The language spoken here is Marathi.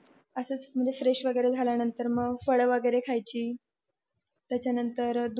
असच म्हणजे फ्रेश वैग्रे झाकल्यानंतर मग फळ वैगेरे खायची त्याच्या नंतर दूध